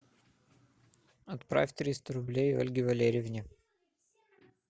отправь триста рублей ольге валерьевне